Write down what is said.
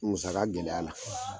Musaka gɛlɛya la